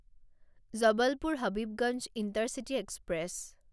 Jabalpur Habibganj intercity express